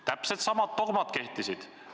Täpselt samad dogmad kehtisid.